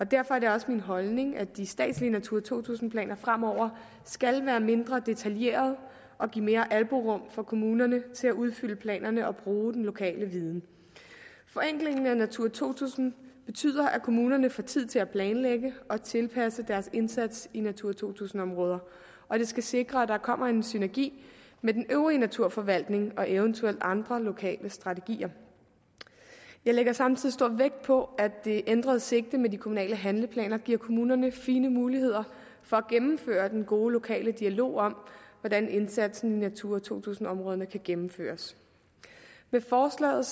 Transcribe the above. derfor er det også min holdning at de statslige natura to tusind planer fremover skal være mindre detaljerede og give mere albuerum for kommunerne til at udfylde planerne og bruge den lokale viden forenklingen af natura to tusind betyder at kommunerne får tid til at planlægge og tilpasse deres indsats i natura to tusind områder og det skal sikre at der kommer en synergi med den øvrige naturforvaltning og eventuelt andre lokale strategier jeg lægger samtidig stor vægt på at det ændrede sigte med de kommunale handleplaner giver kommunerne fine muligheder for at gennemføre den gode lokale dialog om hvordan indsatsen i natura to tusind områderne kan gennemføres med forslaget